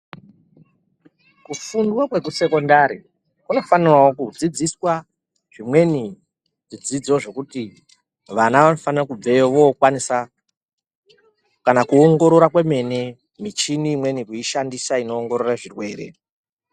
Kufunda kwekusekendari kunofanirwa kudzidziswa zvimweni zvdzidzo zvekuti vana vanofanirwa kubvayo vokwanisa kana kuongorora kwemene michini imweni kuishandisa inoongorora zvirwere.